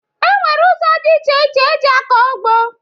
E nwere ụzọ dị iche iche eji akọ ugbo